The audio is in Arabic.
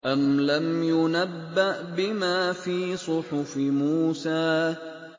أَمْ لَمْ يُنَبَّأْ بِمَا فِي صُحُفِ مُوسَىٰ